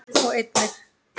og einnig